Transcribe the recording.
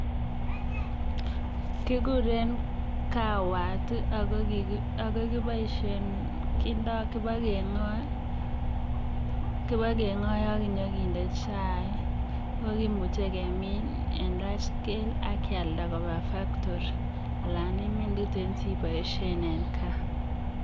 Kikuren kawatak ko kiboiboishen kibokeng'oe ak kinyokinde chaik, oo kimuche kemin en large scale ak kialda kobaa factory alaan imin tuten siboishen en kaa.